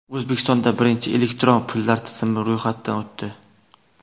O‘zbekistonda birinchi elektron pullar tizimi ro‘yxatdan o‘tdi.